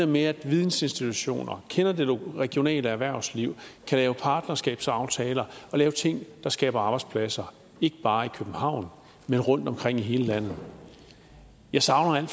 med at vidensinstitutioner kender det regionale erhvervsliv kan lave partnerskabsaftaler og lave ting der skaber arbejdspladser ikke bare i københavn men rundtomkring i hele landet jeg savner